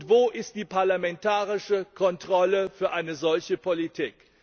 Wo ist die parlamentarische Kontrolle für eine solche Politik?